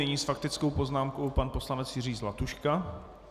Nyní s faktickou poznámkou pan poslanec Jiří Zlatuška.